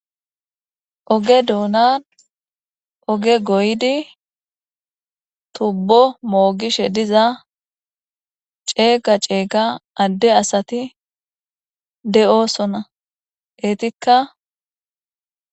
oge doonan oge goydi tubbo moogishe diza ceega ceega adde asati de7osona eetikka